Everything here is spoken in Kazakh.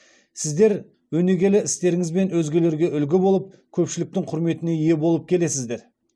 сіздер өнегелі істеріңізбен өзгелерге үлгі болып көпшіліктің құрметіне ие болып келесіздер